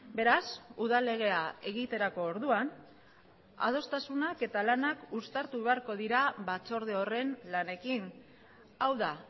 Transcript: beraz udal legea egiterako orduan adostasunak eta lanak uztartu beharko dira batzorde horren lanekin hau da